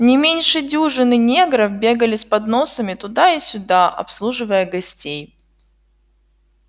не меньше дюжины негров бегали с подносами туда и сюда обслуживая гостей